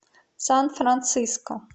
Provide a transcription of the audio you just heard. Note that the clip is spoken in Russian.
сан франциско